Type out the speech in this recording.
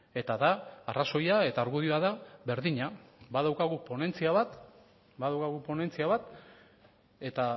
eta da arrazoia eta argudioa da berdina badaukagu ponentzia bat eta